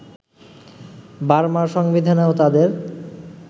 বার্মার সংবিধানেও তাদের